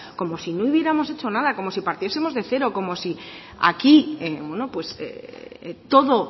como si no hubiéramos hecho nada como si partiesemos de cero como si aquí todo